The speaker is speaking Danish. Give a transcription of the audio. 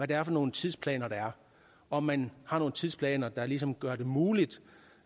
det er for nogle tidsplaner der er om man har nogle tidsplaner der ligesom gør det muligt